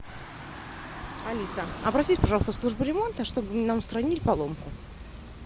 алиса обратись пожалуйста в службу ремонта чтобы нам устранили поломку